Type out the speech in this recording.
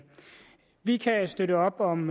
vi kan støtte op om